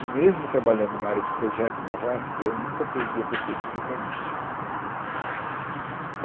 E mesmo trabalhando em uma área de projeto na VASP, eu nunca perdi a perspectiva urbanística, entendeu?